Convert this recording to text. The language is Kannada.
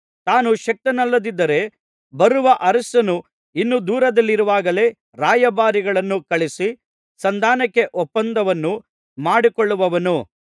ತಾನು ಶಕ್ತನಲ್ಲದಿದ್ದರೆ ಬರುವ ಅರಸನು ಇನ್ನೂ ದೂರದಲ್ಲಿರುವಾಗಲೇ ರಾಯಭಾರಿಗಳನ್ನು ಕಳುಹಿಸಿ ಸಂಧಾನಕ್ಕೆ ಒಪ್ಪಂದವನ್ನು ಮಾಡಿಕೊಳ್ಳುವನು